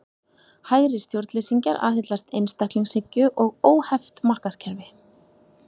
Hægri stjórnleysingjar aðhyllast einstaklingshyggju og óheft markaðskerfi.